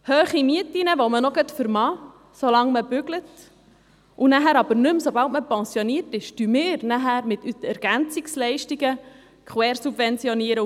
Hohe Mieten, welche man noch vermag, solange man arbeitet, aber sobald man pensioniert ist, nicht mehr, finanzieren wir anschliessend über die Ergänzungsleistungen (EL).